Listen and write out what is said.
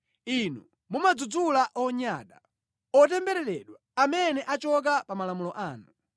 Inu mumadzudzula onyada, otembereredwa, amene achoka pa malamulo anu.